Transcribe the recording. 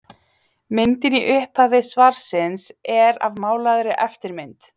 myndin í upphafi svarsins er af málaðri eftirmynd